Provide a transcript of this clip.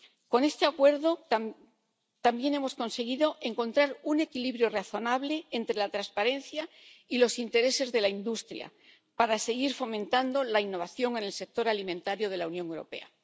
Con este acuerdo también hemos conseguido encontrar un equilibrio razonable entre la transparencia y los intereses de la industria para seguir fomentando la innovación en el sector alimentario de la Unión Europea